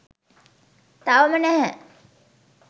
තවම නැහැ